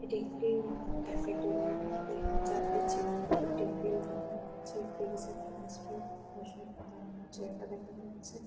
এটা একটিইইই ক্যাফেটেরিয়া এখানে চারটি চেয়ার একটি টেবিল দেখা যাচ্ছে। একটি রিসেপশনিস্ট -এর বসার বা দাঁড়ানোর জায়গা দেখা যাচ্ছে।